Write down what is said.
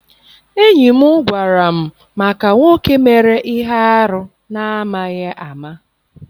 Enyi m gwara m maka nwoke mere ihe arụ na amaghị ama.